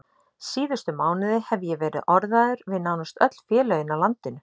Síðustu mánuði hef ég verið orðaður við nánast öll félögin á landinu.